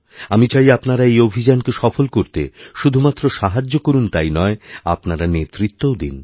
আমি চাই আপনারা এই অভিযানকে সফল করতে শুধুমাত্র সাহায্য করুন তাই নয় আপনারানেতৃত্বও দিন